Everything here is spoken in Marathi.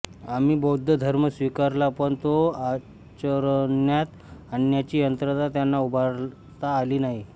आम्ही बौद्ध धर्म स्वीकारला पण तो आचरण्यात आणण्याची यंत्रणा त्यांना उभारता आली नाही